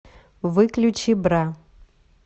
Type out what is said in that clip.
выключи бра